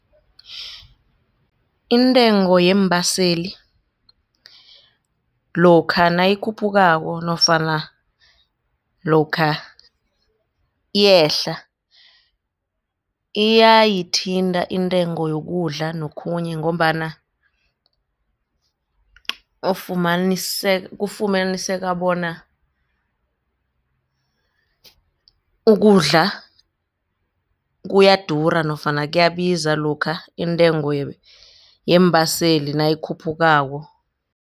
Intengo yeembaseli lokha nayikhuphukako nofana lokha iyehla iyayithinta intengo yokudla nokhunye ngombana kufumaniseka bona ukudla kuyadura nofana kuyabiza lokha intengo yeembaseli nayikhuphukako.